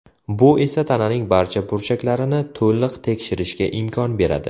Bu esa tananing barcha burchaklarini to‘liq tekshirishga imkon beradi.